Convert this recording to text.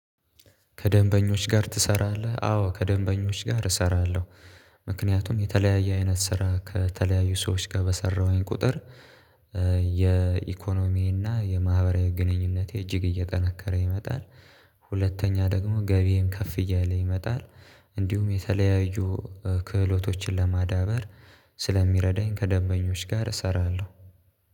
ከደንበኞች ጋር ትሰራለህ? አዎ ከደንበኞች ጋር እሰራለሁ። ምክንያቱም የተለያየ አይነት ስራ ከተለያዩ ሰዎች ጋር በሰራሁኝ ቁጥር። የኢኮኖሚና የማህበራዊ ግንኙነት እጅግ እየጠነከረ ይመጣል። ሁለተኛ ደግሞ ገቢዬን ከፍ እያለ ይመጣል። እንዲሁም የተለያዩ ክህሎቶችን ለማዳበር ስለሚረዳኝ ከደንበኞች ጋር እሰራለሁ